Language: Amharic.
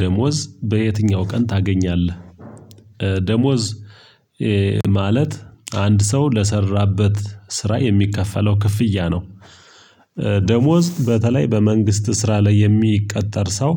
ደሞዝ በየትኛው ቀን ታገኛለህ? ደሞዝ ማለት አንድ ሰው ለሰራበት ስራ የሚከፈለው ክፍያ ነው። ደሞዝ በተለይ በመንግስት ስራ ላይ የሚቀጠር ሰው።